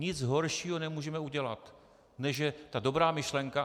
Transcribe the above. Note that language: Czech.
Nic horšího nemůžeme udělat, než že ta dobrá myšlenka...